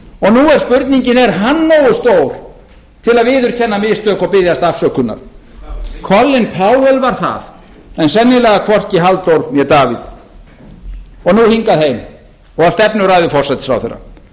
er spurningin er hann nógu stór til að viðurkenna mistök og biðjast afsökunar colin powell var það en sennilega hvorki halldór né davíð og nú hingað heim og að stefnuræðu forsætisráðherra